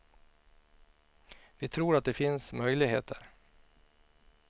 Vi tror att det finns möjligheter.